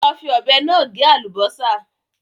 Lọ fi ọ̀bẹ náà gé àlùbásà